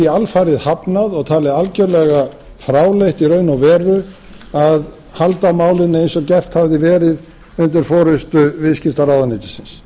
alfarið hafnað og talið algjörlega fráleitt í raun og veru að halda málinu eins og gert hafði verið undir forustu viðskiptaráðuneytisins